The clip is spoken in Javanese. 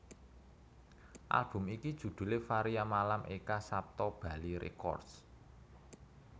Album iki judhulé Varia Malam Eka Sapta Bali Records